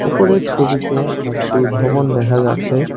উপরের ছবিতে একটি ভবন দেখা যাচ্ছে।